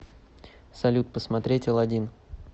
салют посмотреть алладин